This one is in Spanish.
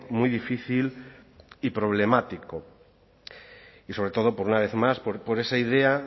muy difícil y problemático y sobre todo por una vez más por esa idea